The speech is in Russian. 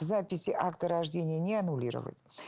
записи акта рождения не аннулировать